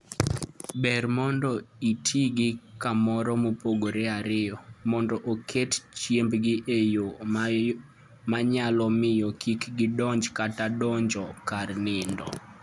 Ber mondo iti gi kamoro mopogre ariyo, mondo oket chiembgi e yo manyalo miyo kik gidonj kata donjo kar nindo.